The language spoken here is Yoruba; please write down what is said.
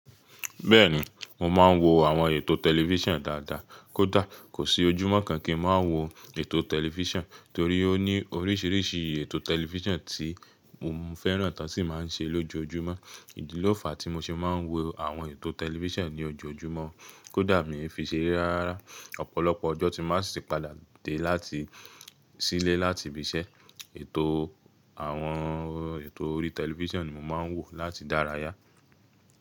Bẹ́ẹ̀ni, mo máa ń wo àwọn ètò tẹlifíṣàn dáadáa. Kódà kò sí ojúmọ́ kan kì í máa wo ètò tẹlifíṣàn torí ó ní oríṣiríṣi ètò tẹlifíṣàn tí mo fẹ́ràn tiwon sì máa ń ṣe lójojúmọ́. Ìdí lófà tí mo ṣe máa ń wo àwọn ètò tẹlifíṣàn ní ojoojúmọ́ kódà mi ò fi ṣe eré rárá. Ọ̀pọ̀lọpọ̀ ọjọ́ tí máa sì padà dé láti sílé láti ibi iṣẹ́, ètò àwọn ètò orí tẹlifíṣàn ni mo máa ń wò láti dárayá.